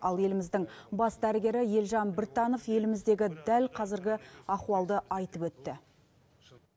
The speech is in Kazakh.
ал еліміздің бас дәрігері елжан біртанов еліміздегі дәл қазіргі ахуалды айтып өтті